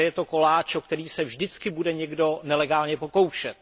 Takže je to koláč, o který se vždycky bude někdo nelegálně pokoušet.